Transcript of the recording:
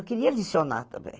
Eu queria licionar também.